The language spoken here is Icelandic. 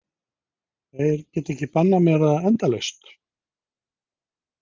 Þeir geta ekki bannað mér það endalaust.